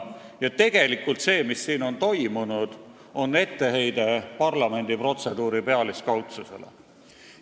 Ja tegelikult on see, mis on siin toimunud, etteheide parlamendi protseduuride pealiskaudsusele.